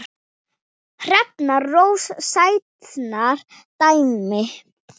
Hrefna Rósa Sætran dæmdi.